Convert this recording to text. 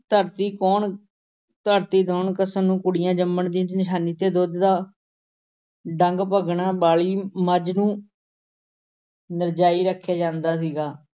ਦੌਣ ਕੱਸਣ ਨੂੰ ਕੁੜੀਆਂ ਜੰਮਣ ਦੀ ਨਿਸ਼ਾਨੀ ਤੇ ਦੁੱਧ ਦਾ ਡੰਗ ਭੰਨਣ ਵਾਲੀ ਮੱਝ ਨੂੰ ਨਜ਼ਰਾਈ ਰੱਖਿਆ ਜਾਂਦਾ ਸੀਗਾ।